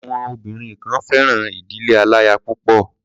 Àwọn obìnrin kan fẹ́ràn ìdílé aláya púpọ̀.